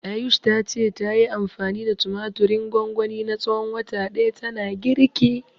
Ayush ta ce, tayi anfani da tumatirin gwangwani na tsawon wata ɗaya tana girki.